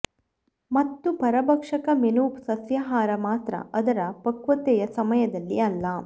ಮತ್ತು ಪರಭಕ್ಷಕ ಮೆನು ಸಸ್ಯಾಹಾರ ಮಾತ್ರ ಅದರ ಪಕ್ವತೆಯ ಸಮಯದಲ್ಲಿ ಅಲ್ಲ